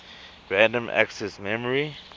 random access memory